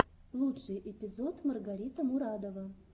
лучший эпизод маргарита мурадова